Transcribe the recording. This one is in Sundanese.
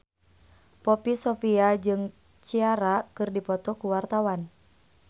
Poppy Sovia jeung Ciara keur dipoto ku wartawan